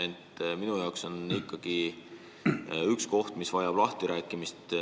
Ent minu jaoks on ikkagi üks koht, mis vajab lahtirääkimist.